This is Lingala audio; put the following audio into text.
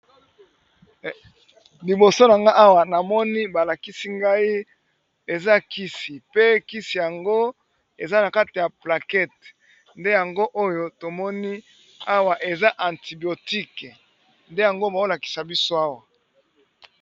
Liboso nangai Awa namoni balakisi ngai eza kisi pe eza na kati ya plaquette ndeyango oyo tomoni Awa eza antibiotiques nde yango bazo lakisa Awa.